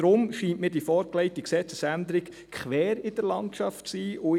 Deshalb scheint mir die vorgelegte Gesetzesänderung quer in der Landschaft zu stehen.